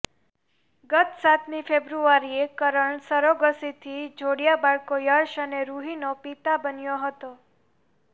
ગત સાતમી ફેબ્રુઆરીએ કરણ સરોગસીથી જોડિયાં બાળકો યશ અને રૂહીનો પિતા બન્યો હતો